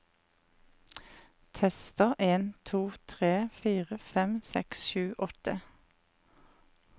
Tester en to tre fire fem seks sju åtte